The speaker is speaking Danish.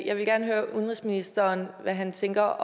jeg vil gerne høre udenrigsministeren hvad han tænker